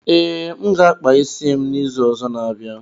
Ee, m ga akpa isi m n'izu ọzọ n'abia